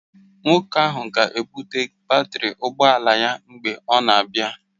Nwoke ahụ ga-ebụte batrị ụgbọ ala ya mgbe ọ na-abịa